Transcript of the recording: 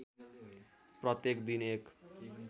प्रत्येक दिन १